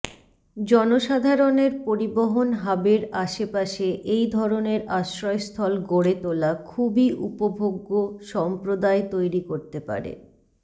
জনসাধারণের পরিবহন হাবের আশেপাশে এই ধরনের আশ্রয়স্থল গড়ে তোলা খুবই উপভোগ্য সম্প্রদায় তৈরি করতে পারে